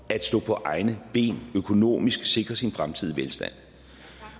at stå på egne ben økonomisk at sikre sin fremtidige velstand